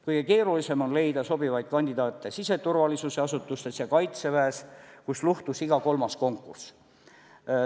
Kõige keerulisem on leida sobivaid kandidaate siseturvalisuse asutustes ja Kaitseväes, kus luhtus iga kolmas konkurss.